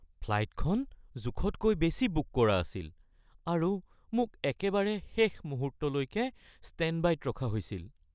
ফ্লাইটখন জোখতকৈ বেছি বুক কৰা আছিল আৰু মোক একেবাৰে শেষ মুহূৰ্তলৈকে ষ্টেণ্ডবাইত ৰখা হৈছিল